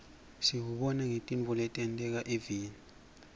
siwubona ngetintfo letenteka eveni